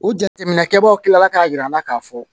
U jateminɛ kɛbaw kilala k'a yira an na k'a fɔ